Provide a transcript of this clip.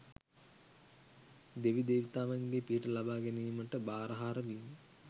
දෙවි දේවතාවන්ගේ පිහිට ලබා ගැනීමට භාරහාර වීම